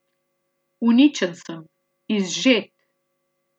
Uničen sem, izžet.